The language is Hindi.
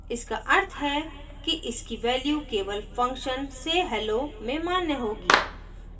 इसका अर्थ है कि इसकी value केवल function say _ hello में मान्य होगी